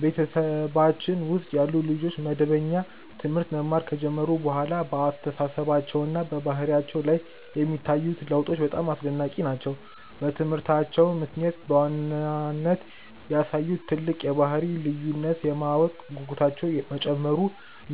በቤተሰባችን ውስጥ ያሉ ልጆች መደበኛ ትምህርት መማር ከጀመሩ በኋላ በአስተሳሰባቸውና በባህሪያቸው ላይ የሚታዩት ለውጦች በጣም አስደናቂ ናቸው። በትምህርታቸው ምክንያት በዋናነት ያሳዩት ትልቅ የባህሪ ልዩነት የማወቅ ጉጉታቸው መጨመሩ